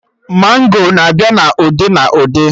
Mango na-abịa na ụdị na ụdị